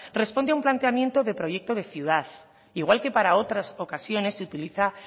responde a un planteamiento de proyecto de ciudad igual que para otras ocasiones se utiliza